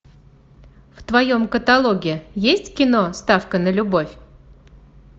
в твоем каталоге есть кино ставка на любовь